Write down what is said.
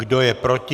Kdo je proti?